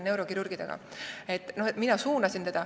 Ma siis suunasin teda.